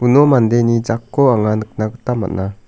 mandeni jakko anga nikna gita man·a.